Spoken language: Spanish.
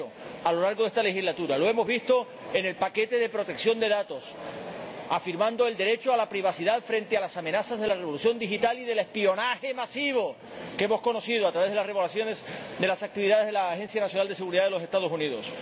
Lo ha hecho a lo largo de esta legislatura —lo hemos visto en el paquete de protección de datos— al afirmar el derecho a la privacidad frente a las amenazas de la revolución digital y del espionaje masivo, que hemos conocido a través de las revelaciones sobre las actividades de la Agencia Nacional de Seguridad de los Estados Unidos.